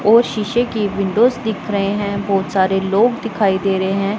और शीशे की विंडोज दिख रहे हैं बहुत सारे लोग दिखाई दे रहे हैं।